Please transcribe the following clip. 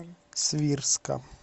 свирска